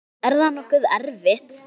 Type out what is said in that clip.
Er það nokkuð erfitt?